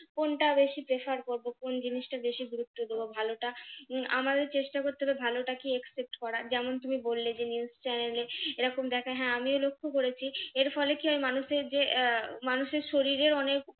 কোনটা বেশি prefer করবো কোন জিনিসটা বেশি গুরুত্ব দেব ভালোটা উম আমাদের চেষ্টা করতে হবে ভালোটা কে accept করার যেমন তুমি বললে যে news channel এ এরকম দেখায় হ্যাঁ আমিও লক্ষ্য করেছি এর ফলে কি হয় মানুষের যে আহ মানুষের শরীরের অনেক